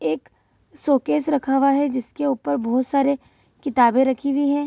एक शो-केस रखा हुआ है जिसके ऊपर बहुत सारे किताबें रखी हुई है।